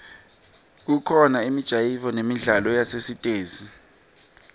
kubakhona imijayivo nemidlalo yasesitesi